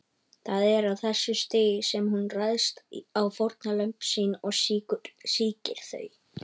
Það er á þessu stigi sem hún ræðst á fórnarlömb sín og sýkir þau.